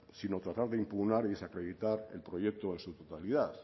sino tratar de impugnar y desacreditar el proyecto en su totalidad